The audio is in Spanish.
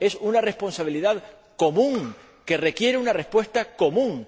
Es una responsabilidad común, que requiere una respuesta común.